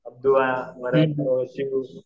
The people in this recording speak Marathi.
अब्दू आहे परत शिव